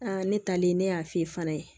ne taalen ne y'a f'i ye fana